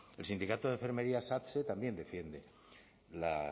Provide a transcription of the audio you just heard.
el sindicato de enfermería satse también defiende la